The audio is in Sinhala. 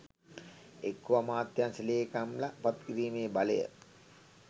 එක්කෝ අමාත්‍යංශ ලේකම්ල පත්කිරීමේ බලය